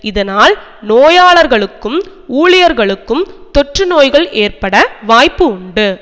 இதனால் நோயாளர்களுக்கும் ஊழியர்களுக்கும் தொற்றுநோய்கள் ஏற்பட வாய்ப்புண்டு